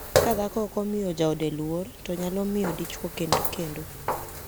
Ka dhako ok omiyo jaode luor to nyalo miyo dichwo kend kendo.